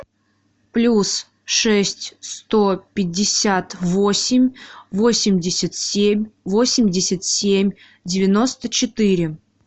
плюс шесть сто пятьдесят восемь восемьдесят семь восемьдесят семь девяносто четыре